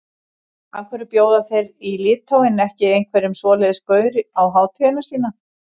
Af hverju bjóða þeir í Litháen ekki einhverjum svoleiðis gaur á hátíðina sína?